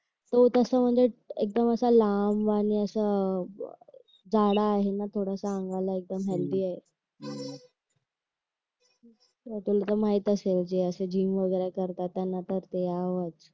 हो तस म्हणजे एक दम असं लांब आणि असं जाडा आहे ना थोडासा अंगाला एकदम हेल्दी आहे तुला तर माहित असेल जे असं जिम वगैरा करतात त्यांना त द्यावंच